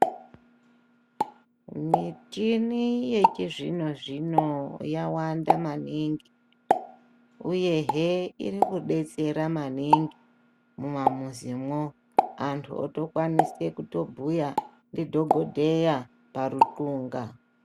Michini yechizvino zvino yawanda maningi uye hee iri kudetsera maningi mumamuzi mwo antu otokwanisa kubhuya ndi dhokodheya paruthunga.